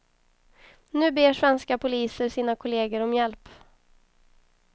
Nu ber svenska poliser sina kolleger om hjälp.